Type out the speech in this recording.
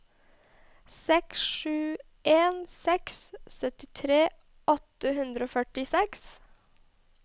seks sju en seks syttitre åtte hundre og førtiseks